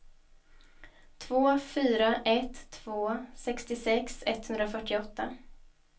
två fyra ett två sextiosex etthundrafyrtioåtta